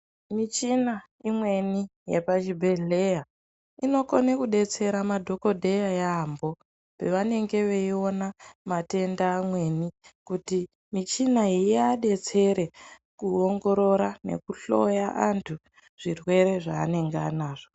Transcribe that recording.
Michina imweni yepa chibhedhleya ino kone kudetsera madhokodheya yambo pavanenge veiona matenda amweni kuti michina iya detsere ku ongorora neku hloya antu zvirwere zva anenge anazvo.